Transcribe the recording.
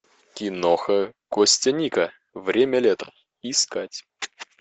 киноха костяника время лета искать